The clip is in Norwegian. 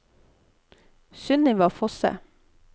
Sunniva Fosse